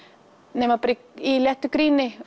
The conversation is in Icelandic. nema bara í léttu gríni